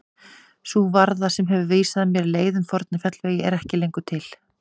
Sú varða sem hefur vísað mér leið um forna fjallvegi er ekki lengur til.